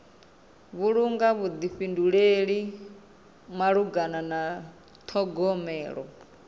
vhulunga vhuḓifhinduleli malugana na ṱhogomelo